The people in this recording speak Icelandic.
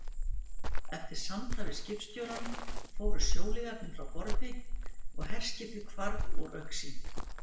Eftir samtal við skipstjórann fóru sjóliðarnir frá borði, og herskipið hvarf úr augsýn.